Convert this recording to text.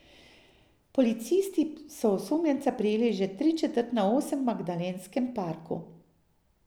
Policisti so osumljenca prijeli že tričetrt na osem v Magdalenskem parku.